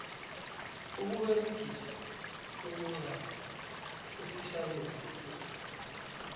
ukuberegiswa kwemincamo esitjhabeni sekhethu